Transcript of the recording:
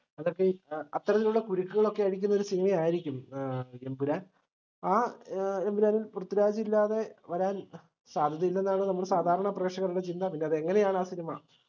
അത്തരത്തിലുള്ള കുരുക്കുകളോക്കെ അഴിക്കുന്ന ഒര് cinema ആയിരിക്കും ഏർ എമ്പുരാൻ ആ എമ്പുരാനിൽ പൃഥ്വിരാജ് ഇല്ലാതെ വരാൻ സാധ്യതയില്ലെന്നാണ് നമ്മള് സാധാരണ പ്രേഷകർടെ ചിന്ത പിന്നെ അത് എങ്ങനെയാണ്‌ ആ cinema